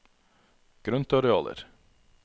grøntarealer